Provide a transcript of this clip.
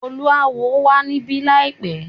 Oluawo wà níbí láìpẹ́.